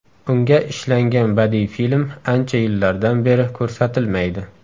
Unga ishlangan badiiy film ancha yillardan beri ko‘rsatilmaydi.